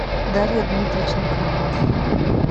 дарья дмитриченко